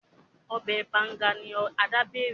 Obè Banga ni Ada bẹrẹ.